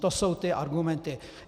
To jsou ty argumenty.